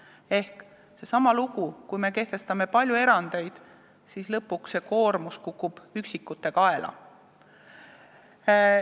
See on seesama lugu, et kui me kehtestame palju erandeid, siis lõpuks kukub see koormus üksikute kaela.